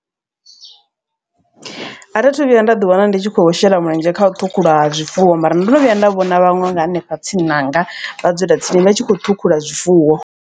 A thi thu vhuya nda ḓi wana ndi tshi khou shela mulenzhe kha u ṱhukhulwa ha zwifuwo. Mara ndo no vhuya nda vhona vhaṅwe nga hanefha tsini hanga vhadzulatsini vha tshi khou ṱhukhula zwifuwo.